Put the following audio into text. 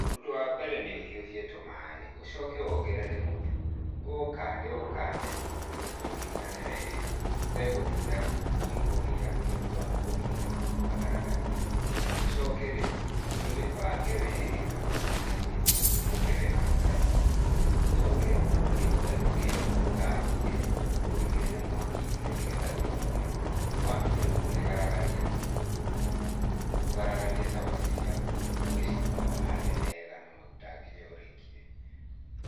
Ũndũ wa mbere nĩ ũhiũhie tũmaĩ, ũcoke wongerere mũtu, ũũkande ũũkande nginya ũnyitane wega ũndũ ũtegũtinda ũgĩkũgia nĩ ũndũ wa kũnyita kagaragaria. Ũcoke rĩu ũmĩbange wega hau metha-inĩ, ũmĩhumbĩke wega na karatathi, ũcoke rĩu ũthiĩ woye rũgĩo ũrũthambie, ũrũigĩrĩre mwaki-inĩ nĩ getha rũhiũhe. Wambie rĩu kũmĩgaragaria, kũgaragaria cabaci ciaku ũgĩcirugaga harĩa wega na maguta nginya ũrĩkie.